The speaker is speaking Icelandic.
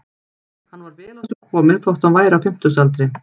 Hann var vel á sig kominn þótt hann væri á fimmtugsaldri.